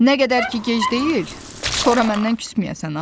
Nə qədər ki gec deyil, sonra məndən küsməyəsən ha.